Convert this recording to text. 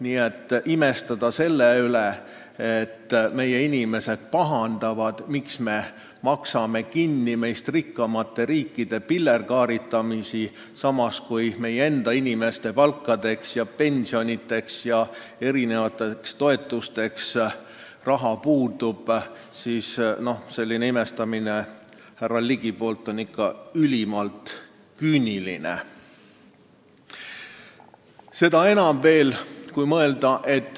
Nii et imestada selle üle, et meie inimesed pahandavad, miks me maksame kinni meist rikkamate riikide pillerkaaritamist, samas kui meie enda inimeste palkadeks ja pensionideks ja erinevateks toetusteks raha puudub – see on härra Ligist ikka ülimalt küüniline.